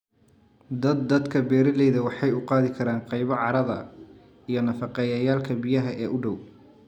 Daad daadka beeralaydu waxay u qaadi karaan qaybo carrada iyo nafaqeeyayaalka biyaha ee u dhow.